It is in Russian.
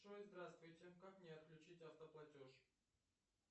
джой здравствуйте как мне отключить автоплатеж